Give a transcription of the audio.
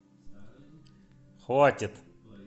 хватит